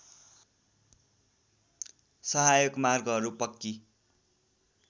साहायक मार्गहरू पक्की